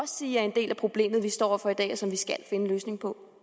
sige er en del af problemet vi står over for i dag og som vi skal finde en løsning på